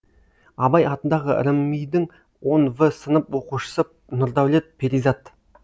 абай атындағы рмми дің он в сынып оқушысы нурдаулет перизат